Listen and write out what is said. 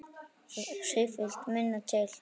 Það þurfti sífellt minna til.